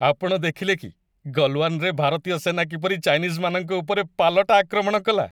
ଆପଣ ଦେଖିଲେ କି ଗଲୱାନରେ ଭାରତୀୟ ସେନା କିପରି ଚାଇନିଜ୍‌ମାନଙ୍କ ଉପରେ ପାଲଟା ଆକ୍ରମଣ କଲା?